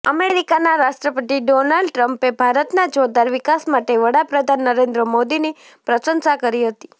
અમેરિકાના રાષ્ટ્રપતિ ડોનાલ્ડ ટ્રમ્પે ભારતના જોરદાર વિકાસ માટે વડાપ્રધાન નરેન્દ્ર મોદીની પ્રશંસા કરી હતી